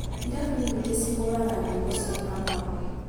irabu nyingĩ cihũraga nyĩmbo cia Kamau